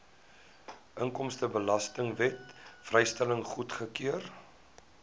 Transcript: inkomstebelastingwet vrystelling goedgekeur